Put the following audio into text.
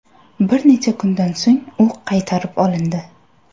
Bir necha kundan so‘ng u qaytarib olindi.